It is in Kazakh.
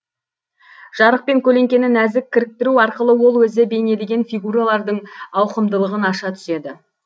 жарық пен көлеңкені нәзік кіріктіру арқылы ол өзі бейнелеген фигуралардың ауқымдылығын аша түседі